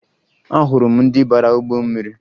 Ahụrụ m ndị bara ụgbọ mmiri